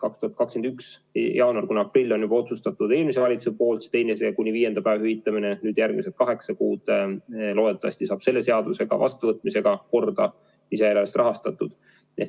2021 jaanuar kuni aprill on juba otsustatud eelmise valitsuse poolt see teise kuni viienda päeva hüvitamine, nüüd veel järgmised kaheksa kuud loodetavasti saab selle seaduse vastuvõtmisega lisada, lisaeelarvest rahastatud.